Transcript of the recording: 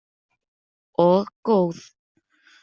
Og góð.